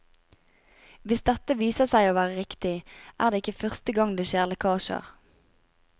Hvis dette viser seg å være riktig, er ikke det første gang det skjer lekkasjer.